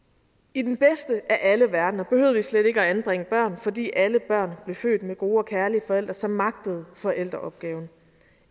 i den bedste af alle verdener behøvede vi slet ikke at anbringe børn fordi alle børn blev født med gode og kærlige forældre som magtede forældreopgaven